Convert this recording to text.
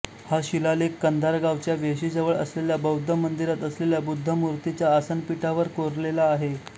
हा शिलालेख कंधार गावच्या वेशीजवळ असलेल्या बौद्ध मंदिरात असलेल्या बुद्धमुर्तीच्या आसनपीठावर कोरलेला आहे